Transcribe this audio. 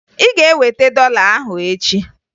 Ị ga-eweta dọla ahụ echi!